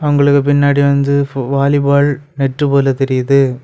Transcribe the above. இவங்களுக்கு பின்னாடி வந்து ஃபு வாலிபால் நெட் போல தெரியுது.